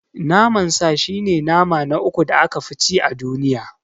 Naman sa shi ne nama na uku da aka fi ci a duniya.